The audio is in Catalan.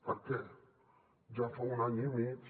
per què ja fa un any i mig